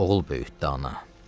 Oğul böyütdü ana.